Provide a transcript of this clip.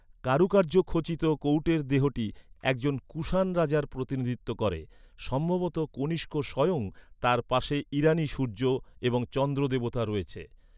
কারুকার্য খোচিত কৌটের দেহটি একজন কুশান রাজার প্রতিনিধিত্ব করে, সম্ভবত কনিষ্ক স্বয়ং, তার পাশে ইরানী সূর্য এবং চন্দ্র দেবতা রয়েছে।